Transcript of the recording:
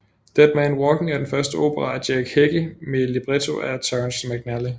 Dead Man Walking er den første opera af Jake Heggie med libretto af Terrence McNally